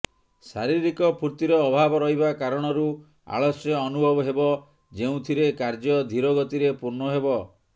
ଶାରୀରିକ ଫୁର୍ତିର ଅଭାବ ରହିବା କାରଣରୁ ଆଳସ୍ୟ ଅନୁଭବ ହେବ ଯେଉଁଥିରେ କାର୍ଯ୍ୟ ଧିର ଗତିରେ ପୂର୍ଣ୍ଣ ହେବ